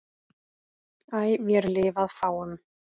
æ vér lifað fáum